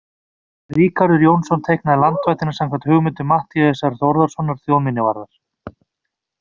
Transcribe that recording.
Ríkharður Jónsson teiknaði landvættina samkvæmt hugmyndum Matthíasar Þórðarsonar þjóðminjavarðar.